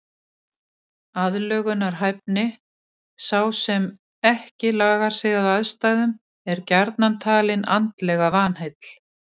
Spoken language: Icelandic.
Aðlögunarhæfni Sá sem ekki lagar sig að aðstæðum er gjarnan talinn andlega vanheill.